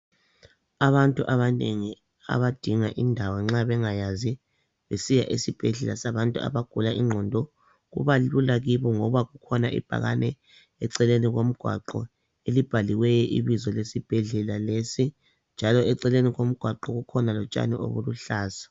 Abantu abanengi abadinga indawo nxa bengayazi besiya esibhedlela sabantu abagula ingqondo kuba lula kibo ngoba kukhona ibhakane eceleni komgwaqo elibhaliweyo ibizo lesibhedlela lesi njalo eceleni komgwaqo kukhona lotshani obuluhlaza